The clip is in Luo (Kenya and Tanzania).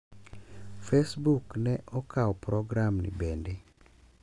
Facebook ne okao program ni bende.